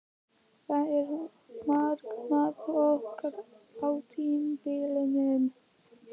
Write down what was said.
Hvað er markmiðið okkar á tímabilinu?